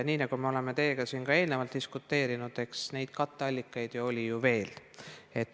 Nii nagu oleme teiega siin eelnevalt ka diskuteerinud, eks neid katteallikaid oli veel.